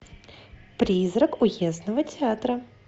призрак уездного театра